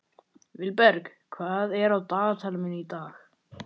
Vilberg, hvað er á dagatalinu mínu í dag?